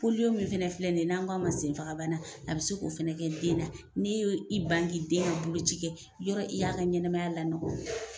polio min fana filɛ nin ye n' an k'a ma sen faga bana, a bɛ se k'o fana kɛ den na, n i y i ban ka den ka bolo ci kɛ ,i y'a ɔn, i y'a ka ɲɛnamaya lanɔgɔ o ye.